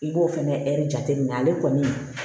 I b'o fɛnɛ ɛri jateminɛ ale kɔni